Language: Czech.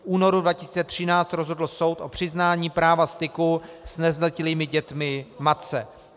V únoru 2013 rozhodl soud o přiznání práva styku s nezletilými dětmi matce.